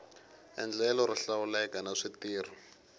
endlelo ro hlawuleka na switirho